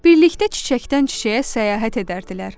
Birlikdə çiçəkdən çiçəyə səyahət edərdilər.